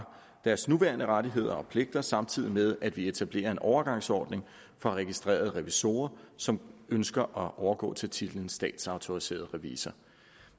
deres nuværende rettigheder og pligter samtidig med at vi etablerer en overgangsordning for registrerede revisorer som ønsker at overgå til titlen statsautoriseret revisor